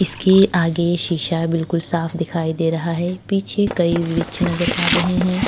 इसके आगे सीसा बिल्कुल साफ दिखाई दे रहा है पीछे कई वृक्ष नज़र आ रहे हैं।